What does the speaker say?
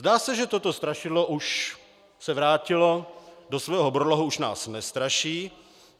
Zdá se, že toto strašidlo už se vrátilo do svého brlohu, už nás nestraší.